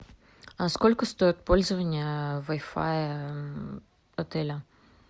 сколько стоит пользование вай фай в отеле